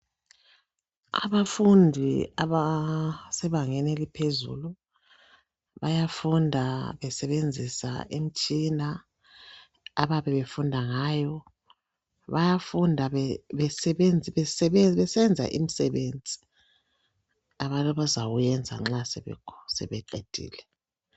Abafundi abasebangeni eliphezulu bayafunda besebenzisa imtshina ababe funda ngayo bayafunda besenza imsebenzi abazawenza nxa sebeqedile.